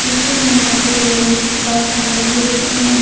पीछे में मुझे दिख रहा है।